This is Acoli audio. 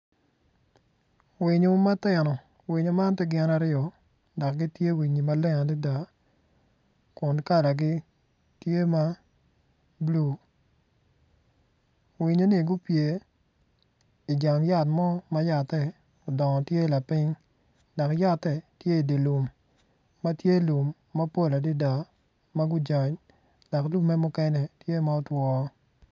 Winyo ma tino winyo man tye gin aryo dok gitye winyi maleng adada kun kalagi tye ma bulu winyoni gupye ijang yat mo ma yat-te odongo tye lapiny dok ya-te tye idi lum ma tye lum mapol adada dok lumme mukene tye ma otwo.